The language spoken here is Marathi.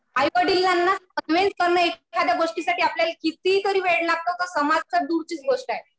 आईवडिलांना कन्व्हिन्स करणं एखादया गोष्टीसाठी आपल्याला कितीतरी वेळ लागतो. तर समाज तर दूरचीच गोष्ट आहे.